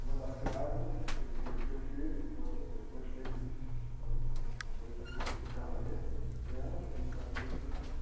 Uma das grávidas, que não queria ter o filho, então depois, três anos depois, daí eu fiz o casamento dela e batizei o filho dela.